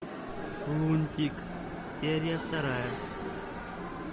лунтик серия вторая